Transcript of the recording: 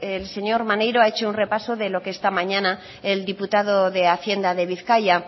el señor maneiro ha hecho un repaso de lo que esta mañana el diputado de hacienda de bizkaia